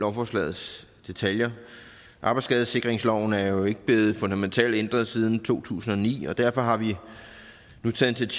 lovforslagets detaljer arbejdsskadesikringsloven er jo ikke blevet fundamentalt ændret siden to tusind og ni og derfor har vi nu taget